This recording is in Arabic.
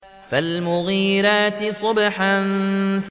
فَالْمُغِيرَاتِ صُبْحًا